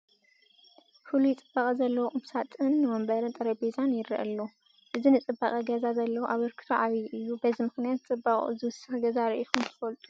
ፍሉይ ፅባቐ ዘለዎ ቁም ሳጥን፣ ወንበርን ጠረጴዛን ይርአ ኣሎ፡፡ እዚ ንፅባቐ ገዛ ዘለዎ ኣበርክቶ ዓብዪ እዩ፡፡ በዚ ምኽንያት ፅባቕኡ ዝውስኽ ገዛ ርኢኹም ዶ ትፈልጡ?